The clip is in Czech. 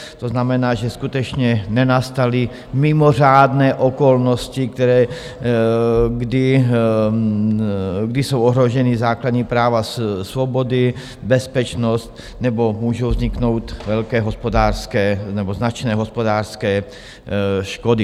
To znamená, že skutečně nenastaly mimořádné okolnosti, které - kdy jsou ohrožena základní práva, svobody, bezpečnost nebo můžou vzniknout velké hospodářské nebo značné hospodářské škody.